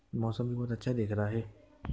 मौसम भी बहोत अच्छा दिख रहा है।